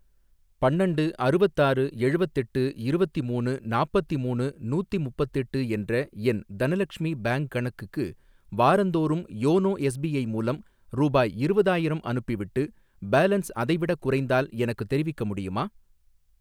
பன்னண்டு அறுவத்தாறு எழுவத்தெட்டு இருவத்திமூணு நாப்பத்திமூணு நூத்திமுப்பத்தெட்டு என்ற என் தனலக்ஷ்மி பேங்க் கணக்குக்கு வாரந்தோறும் யோனோ எஸ்பிஐ மூலம் ரூபாய் இருவதாயிரம் அனுப்பிவிட்டு, பேலன்ஸ் அதைவிடக் குறைந்தால் எனக்குத் தெரிவிக்க முடியுமா?